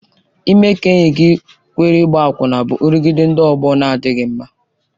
Ime ka enyi gị kwere ịgba akwụna bụ nrụgide ndị ọgbọ na-adịghị mma.